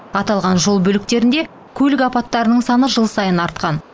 аталған жол бөліктерінде көлік апаттарының саны жыл сайын артқан